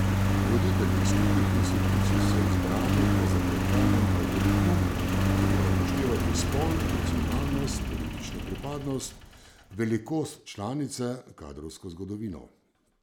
Voditelji skupnih institucij so izbrani po zapletenem algoritmu, ki mora upoštevati spol, nacionalnost, politično pripadnost, velikost članice, kadrovsko zgodovino ...